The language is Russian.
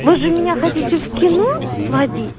вы меня хотите в кино сводить